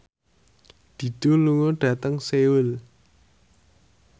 Dido lunga dhateng Seoul